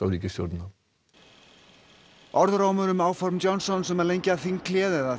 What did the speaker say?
ríkisstjórnina orðrómur um áform Johnsons um að lengja þinghléð eða